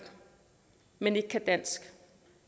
men som ikke kan dansk